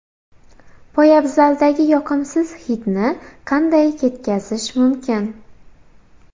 Poyabzaldagi yoqimsiz hidni qanday ketkazish mumkin?.